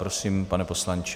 Prosím, pane poslanče.